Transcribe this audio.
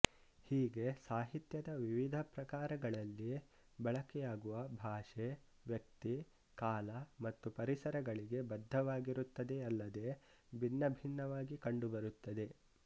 ಹೀಗೆ ಸಾಹಿತ್ಯದ ವಿವಿಧ ಪ್ರಕಾರಗಳಲ್ಲಿ ಬಳಕೆಯಾಗುವ ಭಾಷೆ ವ್ಯಕ್ತಿ ಕಾಲ ಮತ್ತು ಪರಿಸರಗಳಿಗೆ ಬದ್ಧವಾಗಿರುತ್ತದೆಯಲ್ಲದೆ ಭಿನ್ನಭಿನ್ನವಾಗಿ ಕಂಡುಬರುತ್ತದೆ